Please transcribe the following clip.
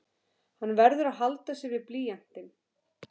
Hann verður að halda sig við blýantinn.